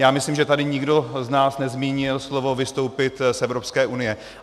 Já myslím, že tady nikdo z nás nezmínil slovo vystoupit z Evropské unie.